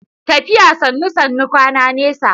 Tafiya Sannu Sannu, kwana nesa.